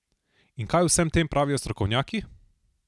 In kaj o vsem tem pravijo strokovnjaki?